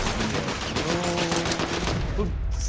блять ну тут